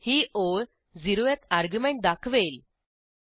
ही ओळ 0थ शून्य क्रमांकाचे अर्ग्युमेंट दाखवेल